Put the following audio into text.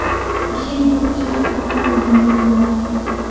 Ishim ko‘pchilik uchun foydali bo‘lardi.